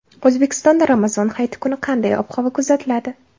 O‘zbekistonda Ramazon hayiti kuni qanday ob-havo kuzatiladi?.